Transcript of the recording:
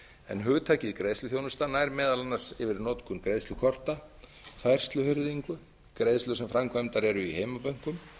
en hugtakið greiðsluþjónusta nær meðal annars yfir notkun greiðslukorta færsluhirðingu greiðslur sem framkvæmdar eru í heimabönkum